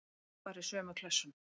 Allt fari í sömu klessuna.